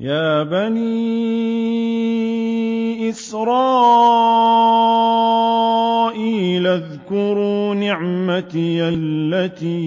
يَا بَنِي إِسْرَائِيلَ اذْكُرُوا نِعْمَتِيَ الَّتِي